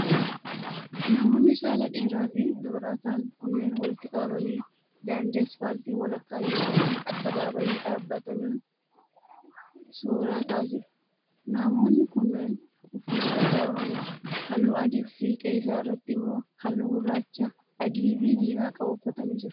Namoonni saalan dhiira fi dubara ta'an kunneen walitti qabamanii daandii asfaaltii walakkaa yokin addabaabaayii dhaababatanii suura ka'aa jiru. Namoonni kunneen uffata aadaa Oromoo haalluu adii fi fiixee isaa irratti immoo haalluu gurraacha, adii fi diimaa qabu uffatanii jiru.